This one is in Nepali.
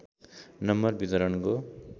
नम्बर वितरणको